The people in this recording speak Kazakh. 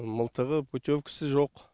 мылтығы путевкасы жоқ